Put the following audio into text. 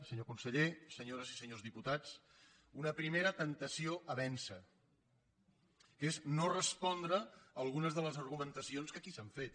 senyor conseller senyores i se·nyors diputats una primera temptació a vèncer que és no respondre a algunes de les argumentacions que aquí s’han fet